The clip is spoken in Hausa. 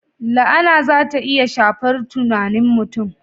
La'ana za ta iya shafar tunanin mutum.